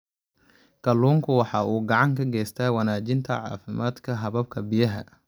Kalluunku waxa uu gacan ka geystaa wanaajinta caafimaadka hababka biyaha.